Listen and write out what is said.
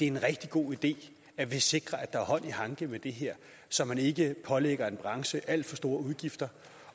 en rigtig god idé at sikre at der er hånd i hanke med det her så man ikke pålægger en branche alt for store udgifter